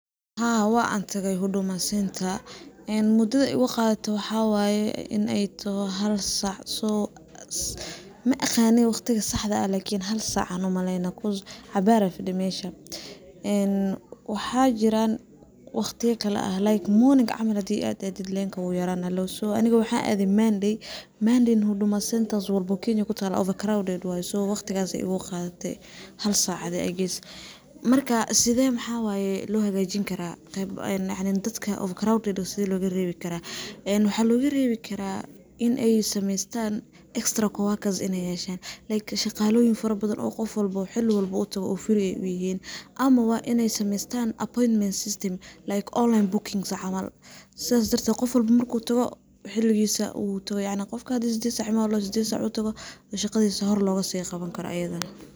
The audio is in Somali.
Haa wan tage huduma center, mudada ay igu qadate waxaa waye in ay toho hal saac, ma aqani waqtiga saxda ah lakin hal saac an umaleyna because cabaar ayan fadhe mesha, waxaa jiran waqtiya kala ah l ike morning camal hadii ad aadid lenka wuu yarana, aniga waxan aade monday, monday na huduma center walbo oo Kenya kutaalo overcrowded waye, waqtigaas ay igu qaadate hal saac adi adeegis, marka maxawaye loo hagajin karaa, yacni dadka overcrowded sidee loga reebi karaa, en waxaa loga reebi karaa inay sameeystan extra co-workers inay yeshtan, shaqaaloyin fara badan oo qof walbo xili walbo u tago ay free u yihiin ama waa inay sameeystan appointment system, like online bookings camal sida darted qofka marku tago xiligiisa, qofka hadii sided saac imaw hadii ladhoho uu sided saac u tago oo shaqadis hor logasi qaban karo ayadana